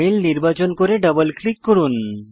mail নির্বাচন করে double click করুন